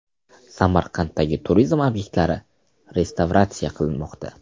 Samarqanddagi turizm obyektlari restavratsiya qilinmoqda.